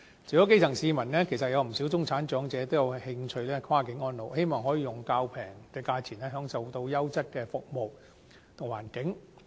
除了基層市民，其實有不少中產長者也有興趣跨境安老，希望可以較便宜的價錢享受優質的服務環境。